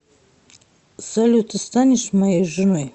салют ты станешь моей женой